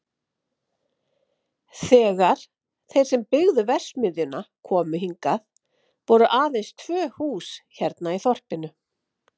Þegar þeir sem byggðu verksmiðjuna komu hingað voru aðeins tvö hús hérna í þorpinu.